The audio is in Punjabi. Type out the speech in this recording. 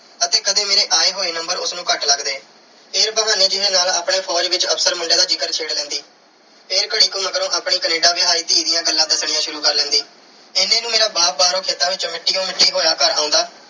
ਅਤੇ ਕਦੇ ਮੇਰੇ ਆਏ ਹੋਏ number ਉਸ ਨੂੰ ਘੱਟ ਲੱਗਦੇ। ਫਿਰ ਬਹਾਨੇ ਜੇ ਨਾਲ ਆਪਣੇ ਫ਼ੌਜ ਵਿੱਚ officer ਮੁੰਡੇ ਦਾ ਜ਼ਿਕਰ ਛੇੜ ਲੈਂਦੀ। ਫਿਰ ਘੜੀ ਕੁ ਮਗਰੋਂ ਆਪਣੀ Canada ਵਿਆਹੀ ਧੀ ਦੀਆਂ ਗੱਲਾਂ ਦੱਸਣੀਆਂ ਸ਼ੁਰੂ ਕਰ ਲੈਂਦੀ। ਇੰਨੇ ਨੂੰ ਮੇਰਾ ਬਾਪ ਬਾਹਰੋਂ ਖੇਤਾਂ ਵਿੱਚੋਂ ਮਿੱਟੀ ਨਾਲ ਮਿੱਟੀ ਹੋਇਆ ਘਰ ਆਉਂਦਾ